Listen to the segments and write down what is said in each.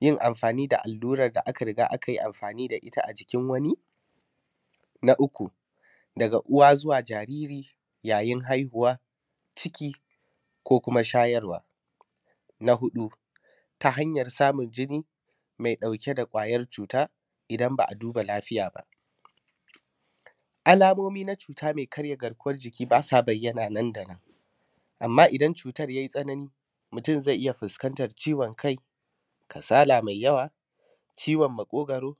yin amfaani da allurar da aka riga aka yi amfaani da ita a jikin wani, na uku daga uwa zuwa jaariri yayin haihuwa ciki ko kuma shayarwa, na huɗu ta hanyar samun jini mai ɗauke da ƙwayar cuuta idan ba a duba lafiya ba. Alamomi na cuuta mai karya garkuwar jiki baa sa bayyana nan da nan amma idan cuutar ya yi tsanani mutum zai iya fuskantar ciwon kai kasala mai yawa ciwon maƙoogwaro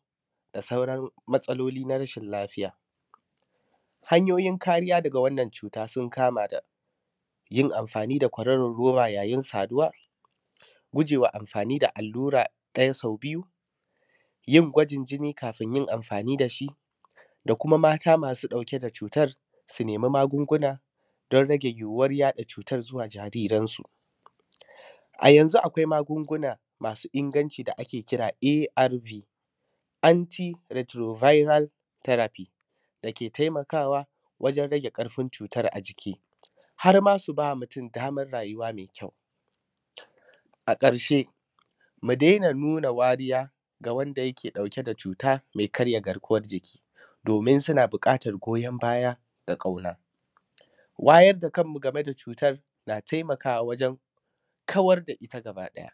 da sauran matsalooli na rashin lafiya. Hanyoyin kariya daga wannan cuuta sun kama da; yin amfaani da kwaroron roba yayin saduwa, gujeewa amfaani da allura ɗaya sau biyu, yin gwajin jini kafin yin amfaani da shi, da kuma maata masu ɗauke da cuutar su nemi magunguna don rage yiwuwar yaɗa cuutar zuwa jaariransu. A yanzu akwai magunguna masu inganci da ake kira arv antiretroviral therapy da ke taimakaawa wajen rage ƙarfin cuutar a jiki, har ma su ba mutum damar rayuwa mai kyau. A ƙarshe mu daina nuna wariya ga wanda yake ɗauke da cuuta mai karya garkuwar jiki doomin suna buƙatar goyon baya da ƙauna. Wayar da kanmu game da cuutar na taimakaawa wajen kawar da ita gabaɗaya.